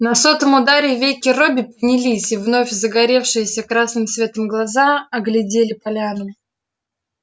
на сотом ударе веки робби поднялись и вновь загоревшиеся красным светом глаза оглядели поляну